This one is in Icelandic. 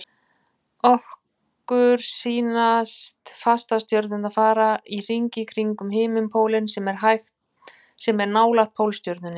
Okkur sýnast fastastjörnurnar fara í hringi kringum himinpólinn sem er nálægt Pólstjörnunni.